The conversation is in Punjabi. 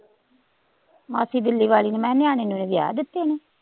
ਮਾਸੀ ਦਿੱਲੀ ਵਾਲੀ ਨੇ ਮੈਂ ਕਿਹਾ ਨਿਆਣੇ ਨਿਊਣੇ ਵਿਆਹ ਦਿੱਤੇ ਨੇ